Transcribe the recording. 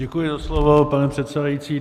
Děkuji za slovo, pane předsedající.